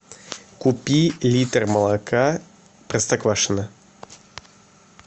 купи литр молока простоквашино